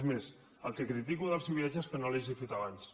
és més el que critico del seu viatge és que no l’hagi fet abans